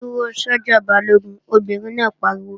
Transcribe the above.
Dúró sọ́jà Balógun, Obìnrin náà pariwo!